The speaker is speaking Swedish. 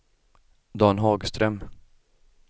Dan Hagström